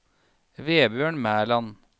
Vebjørn Mæland